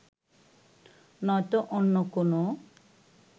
নয়তো অন্য কোনও